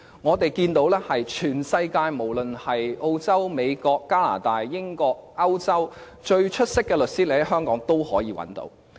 我們看見全世界，無論是澳洲、美國、加拿大、英國和歐洲最出色的律師均可在香港找到。